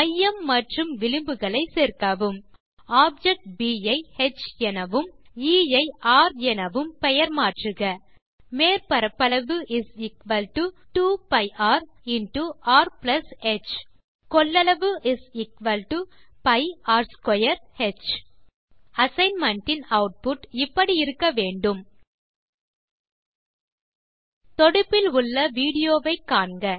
மையம் மற்றும் விளிம்புகளை சேர்க்கவும் ஆப்ஜெக்ட் ப் ஐ ஹ் எனவும் எ ஐ ர் எனவும் பெயர் மாற்றுக மேற்பரப்பளவு 2 π rர் ஹ் கொள்ளளவு π r2h அசைன்மென்ட் இன் ஆட்புட் இப்படி இருக்க வேண்டும் தொடுப்பில் உள்ள விடியோ வை காண்க